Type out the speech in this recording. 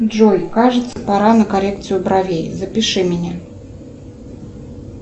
джой кажется пора на коррекцию бровей запиши меня